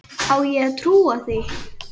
Á ég að trúa því?